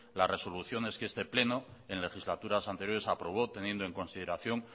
las resoluciones que este pleno en legislaturas anteriores aprobó teniendo en consideración